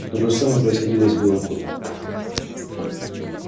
то же самое происходило и с белым клыком